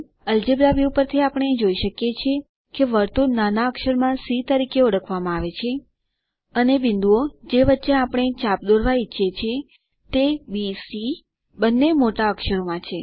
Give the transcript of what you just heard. algebra view પરથી આપણે જોઈ શકીએ કે વર્તુળ નાના અક્ષર માં સી તરીકે ઓળખવામાં આવે છે અને બિંદુઓ જે વચ્ચે આપણે ચાપ દોરવા ઈચ્છીએ છીએ તે bસી બંને મોટા અક્ષરો માં છે